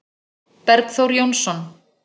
Bergþór Jónsson